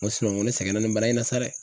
N ko nko ne sɛgɛnna nin bana in na sa dɛ.